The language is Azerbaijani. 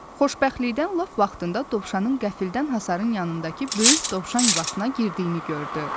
Xoşbəxtlikdən lap vaxtında dovşanın qəflətən hasarın yanındakı böyük dovşan yuvasına girdiyini gördü.